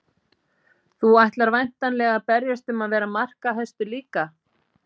Þú ætlar væntanlega að berjast um að vera markahæstur líka?